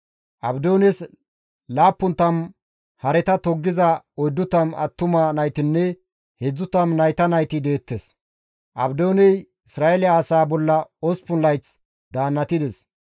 Abdoones 70 hareta toggiza 40 attuma naytinne 30 nayta nayti deettes; Abdooney Isra7eele asaa bolla 8 layth daannatides.